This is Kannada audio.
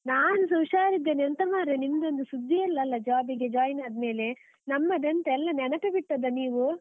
ನಾನ್ ಸ ಹುಷಾರ್ ಇದ್ದೇನೆ. ಎಂತ ಮಾರ್ರೆ, ನಿಮ್ದ್ ಒಂದು ಸುದ್ದೀಯೇ ಇಲ್ಲಲ್ಲ, job ಗೆ join ಅದ್ಮೇಲೆ. ನಮ್ಮದೆಂತ ಎಲ್ಲಾ ನೆನೆಪೇ ಬಿಟ್ಟದ್ದ ನೀವು?